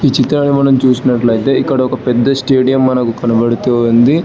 చిత్రంలో మనం చూసినట్లయితే ఇక్కడ ఒక పెద్ద స్టేడియం మనకు కనబడుతూ ఉంది.